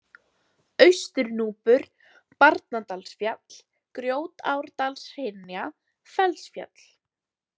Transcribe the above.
Austurnúpur, Barnadalsfjall, Grjótárdalshyrna, Fellsfjall